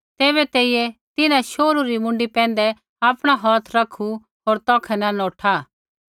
तैबै तेइयै तिन्हां शोहरू री मूँडी पैंधै आपणा हौथ रखू होर तौखै न नौठा